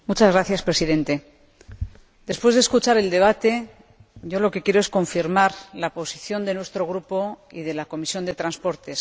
Señor Presidente, después de escuchar el debate, lo que quiero es confirmar la posición de nuestro Grupo y de la Comisión de Transportes.